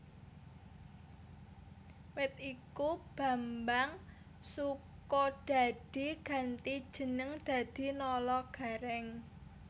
Wit iku Bambang Sukodadi ganti jeneng dadi Nala Garèng